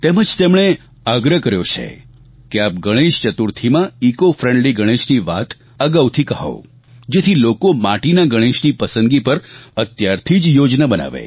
તેમજ તેમણે આગ્રહ કર્યો છે કે આપ ગણેશ ચતુર્થીમાં ઇકોફ્રેન્ડલી ગણેશની વાત અગાઉથી કહો જેથી લોકો માટીના ગણેશની પસંદગી પર અત્યારથી જ યોજના બનાવે